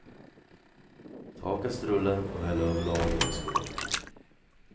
Ta av kastrullen och häll över lagen i en skål.